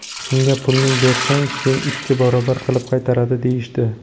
Unga pulingni bersang, senga ikki barobar qilib qaytaradi, deyishdi.